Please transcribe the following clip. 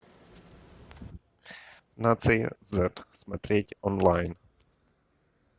нация зет смотреть онлайн